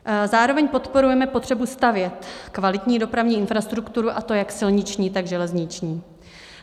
Zároveň podporujeme potřebu stavět kvalitní dopravní infrastrukturu, a to jak silniční, tak železniční.